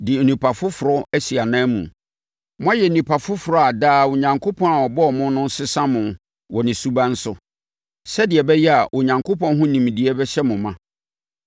de onipadua foforɔ asi ananmu. Moayɛ nnipa foforɔ a daa Onyankopɔn a ɔbɔɔ mo no resesa mo wɔ ne suban so, sɛdeɛ ɛbɛyɛ a Onyankopɔn ho nimdeɛ bɛhyɛ mo ma.